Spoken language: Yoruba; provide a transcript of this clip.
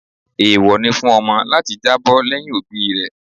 Eewọ ni fún ọmọ láti jábọ́ lẹ́yìn òbí rẹ̀.